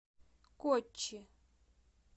коччи